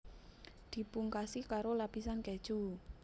Dipungkasi karoo lapisan keju